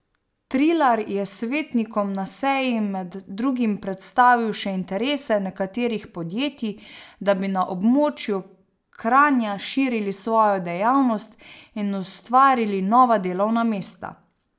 Trilar je svetnikom na seji med drugim predstavil še interese nekaterih podjetij, da bi na območju Kranja širili svojo dejavnost in ustvarili nova delovna mesta.